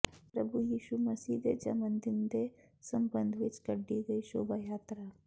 ਪ੍ਰਭੂ ਯਿਸ਼ੂ ਮਸੀਹ ਦੇ ਜਮਨ ਦਿਨ ਦੇ ਸਬੰਧ ਵਿੱਚ ਕੱਢੀ ਗਈ ਸ਼ੋਭਾ ਯਾਤਰਾ